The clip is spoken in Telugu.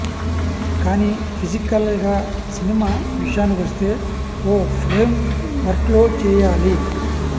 కానీ ఫిజికల్గా సినిమా విషయానికి వస్తే ఓ ఫ్రేమ్ వర్క్లో చేయాలి